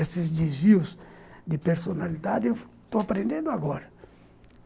Esses desvios de personalidade eu estou aprendendo agora.